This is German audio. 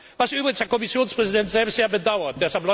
was übrigens der Kommissionspräsident selbst sehr bedauert.